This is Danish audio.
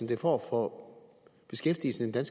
det får for beskæftigelsen i den